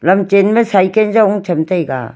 lam chenma cycle jaonu chamtaiga.